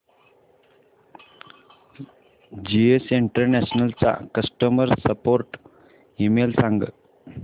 GS international चा customer support email सांग